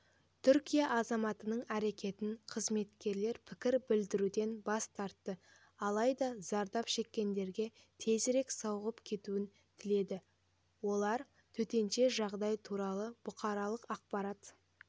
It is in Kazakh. түркия азаматының әрекетін қызметкерлер пікір білдіруден бас тартты алайда зардап шеккендерге тезірек сауығып кетуін тіледі олар төтенше жағдай туралы бұқаралық ақпарат